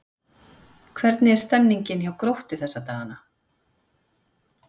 Hvernig er stemmningin hjá Gróttu þessa dagana?